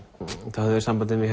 þau höfðu samband við mig